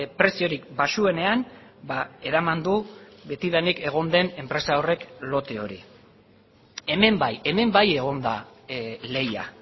preziorik baxuenean eraman du betidanik egon den enpresa horrek lote hori hemen bai hemen bai egon da lehia